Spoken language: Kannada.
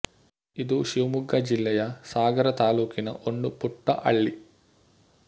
ಇದು ಶಿವಮೊಗ್ಗ ಜಿಲ್ಲೆ ಯ ಸಾಗರ ತಾಲ್ಲೂಕಿನ ಒಂದು ಪುಟ್ಟ ಹಳ್ಳಿ